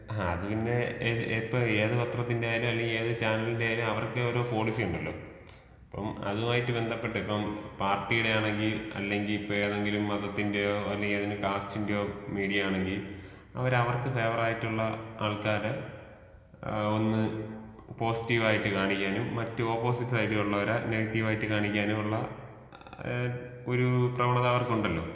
ആ അത് പിന്നെ ഇപ്പെ ഏത് പത്രത്തിന്റെ ആയാലും, അല്ലെങ്കി ഏത് ചാനെലിന്റെ ആയാലും അവർക്ക് ഒരു പോളിസി ഉണ്ടല്ലോ. അപ്പം അതുമായിട്ട് ബന്തപ്പെട്ടിട്ട് ഇപ്പം പാര് ട്ടീടെ ആണെങ്കിൽ, അല്ലെങ്കി ഇപ്പെതെങ്കിലും മതത്തിന്റെയോ, അല്ലെങ്കി കാസ്റ്റ്ന്റെയോ, മീഡിയ ആണെങ്കി അവര്‍ അവർക്ക് ഫെവറായിട്ടുള്ള ആള് ക്കാരെ, ഏ ഒന്ന് പോസിറ്റിവായിട്ട് കാണിക്കാനും മറ്റ് ഒപ്പോസിറ്റ് സൈഡിലുള്ളവരെ നെഗറ്റിവായിട്ട് കാണിക്കാനുമുള്ള ഏ ഒരു പ്രവണത അവർക്കുണ്ടല്ലോ.